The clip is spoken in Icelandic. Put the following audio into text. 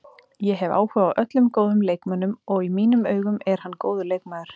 Ég hef áhuga á öllum góðum leikmönnum, og í mínum augum er hann góður leikmaður.